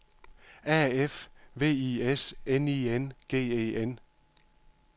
A F V I S N I N G E N